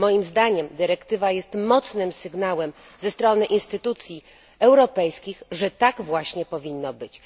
Moim zdaniem dyrektywa jest mocnym sygnałem ze strony instytucji europejskich, że tak właśnie powinno być.